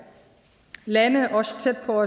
lande også tæt på